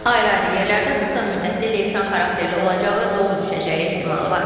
Ayrı-ayrı yerlərdə qısa müddətli leysan xarakterli olacağı, dolu düşəcəyi ehtimalı var.